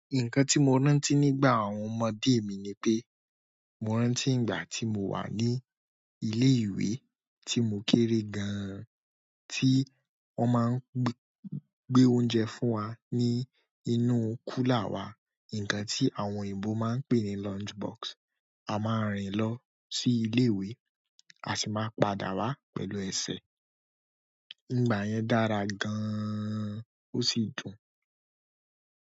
Nǹkan tí mo rántí nígbà àwọn ọmọdé mi ni pé, mo rántí ìgbà tí mo wà ní ilé ìwé tí mo kéré gan an, tí wọ́n máa ń gbé oúnjẹ fún wa ní inú kúlà wa, nǹkan tí àwọn òyìnbó máa ń pè ní lunch box. A máa rìn lọ sí ilé ìwé, a sì máa padà wá pẹ̀lú ẹsẹ̀. Ìgbà yẹn dára gan-an, ó sì dùn.